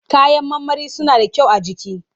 Kayan marmari suna da kyau a jiki.